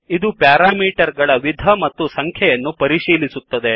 ಇದು ಪ್ಯಾರಾಮೀಟರ್ ಗಳ ವಿಧ ಮತ್ತು ಸಂಖ್ಯೆಯನ್ನು ಪರಿಶೀಲಿಸುತ್ತದೆ